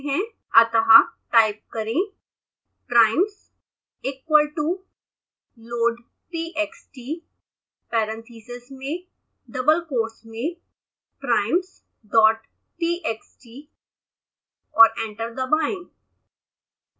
अतः टाइप करें primesequal toloadtxtwithin parentheseswithin double quotesprimesdottxt और एंटर दबाएं